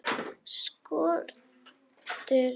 Skortir viljann til að sjá.